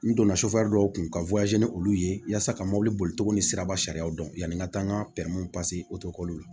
N donna dɔw kun ka ni olu ye yasa ka mobili bolicogo ni siraba sariyaw dɔn yanni n ka taa n ka bɛnw o k'olu la